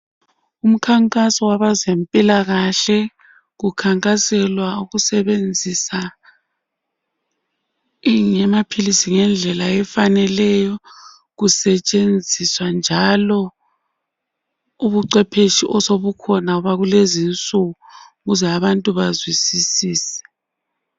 Umkhankaso wabezempilakahle kukhankaselwa ukusebenzisa enye yamaphilisi ngendlela efaneleyo kusetshenziswa njalo ubucwephetshi osobukhona lezinsuku ukuze abantu bazwisisise.